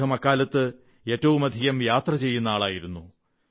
അദ്ദേഹം അക്കാലത്ത് ഏറ്റവുമധികം യാത്ര ചെയ്യുന്ന ആളായിരുന്നു